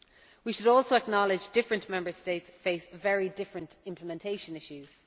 We should also acknowledge that different Member States face very different implementation issues.